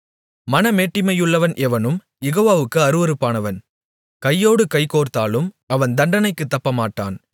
மனமேட்டிமையுள்ளவன் எவனும் யெகோவாவுக்கு அருவருப்பானவன் கையோடு கைகோர்த்தாலும் அவன் தண்டனைக்குத் தப்பமாட்டான்